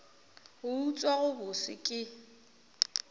go utswa go bose ke